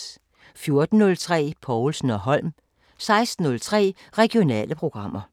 14:03: Povlsen & Holm 16:03: Regionale programmer